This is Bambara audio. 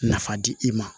Nafa di i ma